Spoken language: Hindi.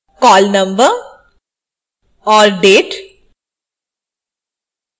call no और date